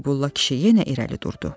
Qeybulla kişi yenə irəli durdu.